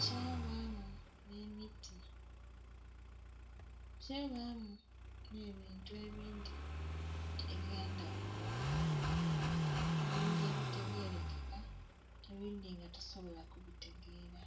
kyabamu nh'emiti, kyabamu nhe ebintu ebindhi eby'endhaghulo, ebindhi ebitegeerekeka ebindhi nga tisobola ku bitegeera.